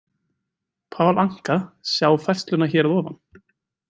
Paul Anka: Sjá færsluna hér að ofan.